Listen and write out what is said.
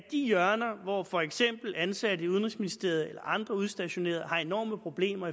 de hjørner hvor for eksempel ansatte i udenrigsministeriet eller andre udstationerede har enorme problemer